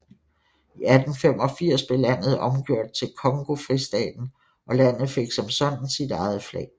I 1885 blev landet omgjort til Congofristaten og landet fik som sådan sit eget flag